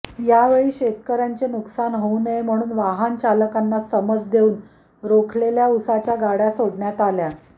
यावेळी शेतकऱयांचे नुकसान होऊ नये म्हणून वाहन चालकांना समज देऊन रोखलेल्या उसाच्या गाडय़ा सोडण्यात आल्या